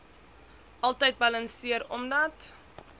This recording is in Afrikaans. altyd balanseer omdat